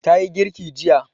Ta yi girki jiya.